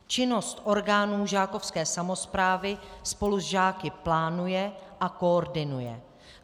Činnost orgánů žákovské samosprávy spolu s žáky plánuje a koordinuje.